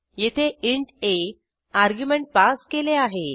येथे इंट आ argument pass केले आहे